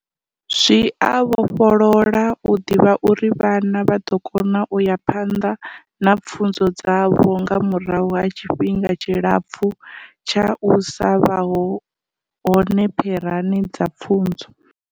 Zwi a vhofholola u ḓivha uri vhana vha ḓo kona u ya phanḓa na pfunzo dzavho nga murahu ha tshifhinga tshilapfu tsha u sa vha hone pherani dza pfunzo.